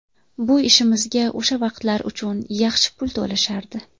Bu ishimizga o‘sha vaqtlar uchun yaxshi pul to‘lashardi.